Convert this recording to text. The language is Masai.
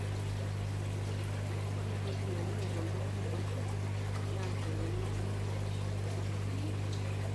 ore entoki naing'ial oleng to lari naa tenenuki erishata sapuk e yield